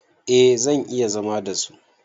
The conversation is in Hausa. A zan iya zama da su